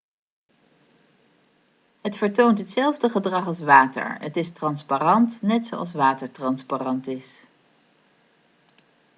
het vertoont hetzelfde gedrag als water het is transparant net zoals water transparant is